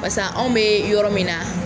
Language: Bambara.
Pasa anw mɛ yɔrɔ min na.